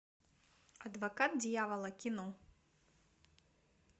адвокат дьявола кино